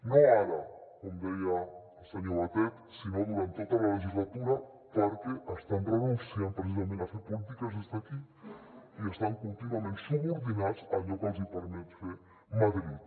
no ara com deia el senyor batet sinó durant tota la legislatura perquè estan renunciant precisament a fer polítiques des d’aquí i estan contínuament subordinats a allò que els hi permet fer madrid